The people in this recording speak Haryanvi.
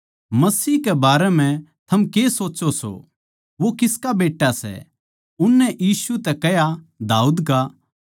मसीह कै बारै म्ह थम के सोच्चो सो वो किसका बेट्टा सै उननै यीशु तै कह्या दाऊद का